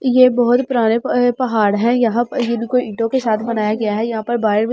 यहाँ बहुत पुराने पुराने पहाड़ हैं यह भी कोई ईटों से बनाया गया हैं यहाँ पर।